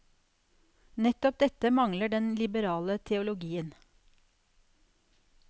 Nettopp dette mangler den liberale teologien.